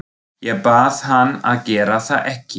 Ég bað hann að gera það ekki.